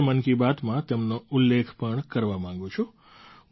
હું આજે મન કી બાતમાં તેમનો ઉલ્લેખ પણ કરવા માગું છું